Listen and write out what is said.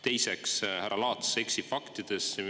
Teiseks, härra Laats eksib faktides.